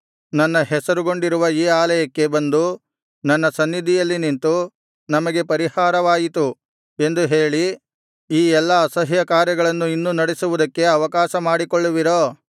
ನನ್ನ ಹೆಸರುಗೊಂಡಿರುವ ಈ ಆಲಯಕ್ಕೆ ಬಂದು ನನ್ನ ಸನ್ನಿಧಿಯಲ್ಲಿ ನಿಂತು ನಮಗೆ ಪರಿಹಾರವಾಯಿತು ಎಂದು ಹೇಳಿ ಈ ಎಲ್ಲಾ ಅಸಹ್ಯಕಾರ್ಯಗಳನ್ನು ಇನ್ನೂ ನಡೆಸುವುದಕ್ಕೆ ಅವಕಾಶ ಮಾಡಿಕೊಳ್ಳುವಿರೋ